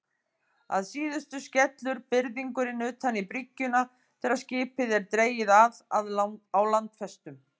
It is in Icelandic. Að síðustu skellur byrðingurinn utan í bryggjuna þegar skipið er dregið að á landfestum.